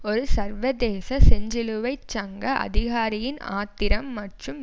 ஒரு சர்வதேச செஞ்சிலுவை சங்க அதிகாரியின் ஆத்திரம் மற்றும்